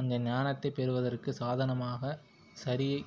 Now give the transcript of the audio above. அந்த ஞானத்தைப் பெறுவதற்குச் சாதனமாகச் சரியை